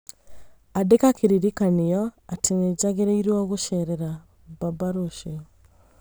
ĩkĩra kĩririkanio atĩ nĩ njagĩrĩirũo gũceerera baba rũciũ